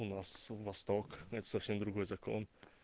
у нас восток это совсем другой закон